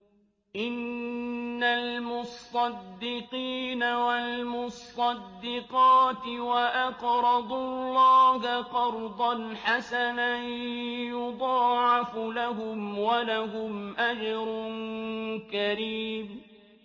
إِنَّ الْمُصَّدِّقِينَ وَالْمُصَّدِّقَاتِ وَأَقْرَضُوا اللَّهَ قَرْضًا حَسَنًا يُضَاعَفُ لَهُمْ وَلَهُمْ أَجْرٌ كَرِيمٌ